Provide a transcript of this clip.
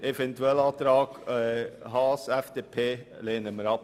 Den Eventualantrag Haas lehnen wir ab.